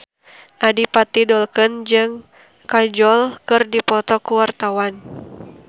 Adipati Dolken jeung Kajol keur dipoto ku wartawan